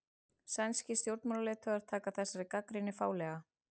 Sænskir stjórnmálaleiðtogar taka þessari gagnrýni fálega